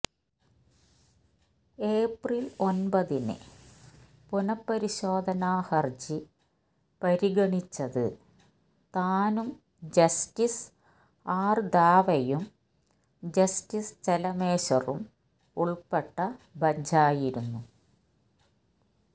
April ഒമ്പതിന് പുനഃപരിശോധനാ ഹരജി പരിഗണിച്ചത് താനും ജസ്റ്റിസ് ആര് ദാവെയും ജസ്റ്റിസ് ചെലമേശ്വറും ഉള്പ്പെട്ട ബഞ്ചായിരുന്നു